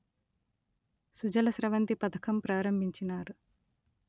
సుజల స్రవంతి పథకం ప్రారంభించినారు